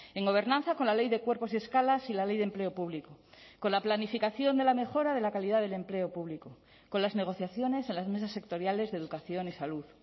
en gobernanza con la ley de cuerpos y escalas y la ley de empleo público con la planificación de la mejora de la calidad del empleo público con las negociaciones en las mesas sectoriales de educación y salud